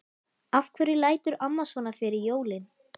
Af hverju lætur amma svona fyrir jólin?